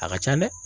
A ka ca dɛ